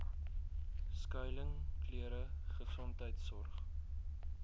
skuiling klere gesondheidsorg